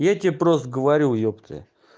я тебе просто говорю ёптэ